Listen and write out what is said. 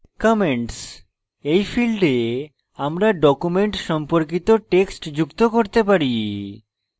commentsin ফীল্ডে আমরা document সম্পর্কিত text যুক্ত করতে পারি